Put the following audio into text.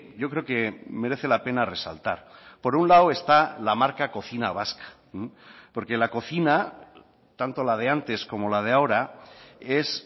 yo creo que merece la pena resaltar por un lado está la marca cocina vasca porque la cocina tanto la de antes como la de ahora es